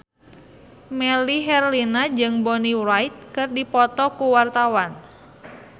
Melly Herlina jeung Bonnie Wright keur dipoto ku wartawan